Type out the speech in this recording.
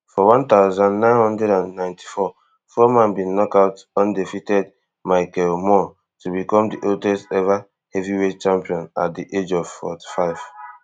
for one thousand, nine hundred and ninety-four foreman bin knock out undefeated michael moorer to become di oldest ever heavyweight champion at di age of forty-five